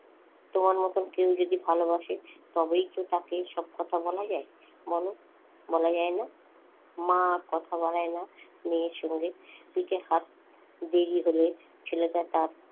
তোমার মত কেউ যদি ভালবাসে তবেই তো তাকে এসব কথা বলা যায়। বল বলা যায়না? মা আর কথা বাড়ায় না মেয়ের সঙ্গে পিঠে হাত দেরি হলে ছেলেটা তার,